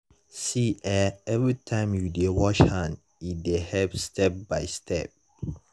see eh everytime you dey wash hand e dey help step by step.